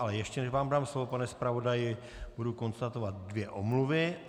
Ale ještě než vám dám slovo, pane zpravodaji, budu konstatovat dvě omluvy.